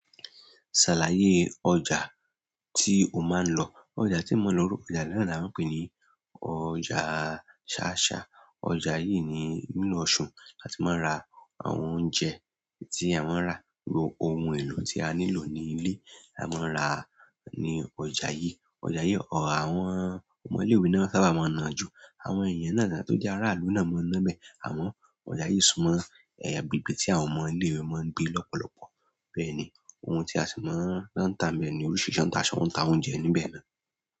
Ṣàlàyé ọjà tí o máa ń lọ. Ọjà tí mo ń lọ orúkọ ọjà náà ni a ń pè ní ọjà ṣááṣá. Ọjà yìí ni nínú oṣù, a ti máa ń ra àwọn oúnjẹ tí a máa ń rà, gbogbo ohun èlò tí a nílò ní ilé, a máa ń rà á ní ọjà yìí. Ọjà yìí ọ àwọn ọmọ ilé-ìwé náà sábà máa ń nà jú. Àwọn èèyàn náà tà tó jẹ́ aráàlú náà máa ń ná bẹ̀. Àmọ́ ọjà yìí súnmọ́ ẹ bèbè tí àwọn ọmọ ilé-ìwé máa ń gbé lọ́pọ̀lọpọ̀. Bẹ́ẹ̀ ni, ohun tí a sì máa ń rán táa ń bẹ̀ ni oríṣiríṣi ń ta aṣọ, ń ta oúnjẹ níbẹ̀ náà.